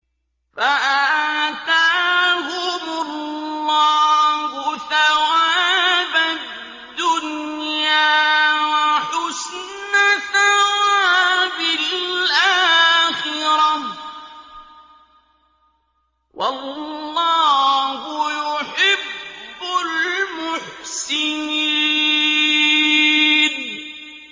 فَآتَاهُمُ اللَّهُ ثَوَابَ الدُّنْيَا وَحُسْنَ ثَوَابِ الْآخِرَةِ ۗ وَاللَّهُ يُحِبُّ الْمُحْسِنِينَ